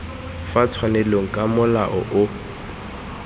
fa tshwanelong ka molao o